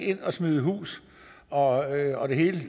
ind og smide hus og og det hele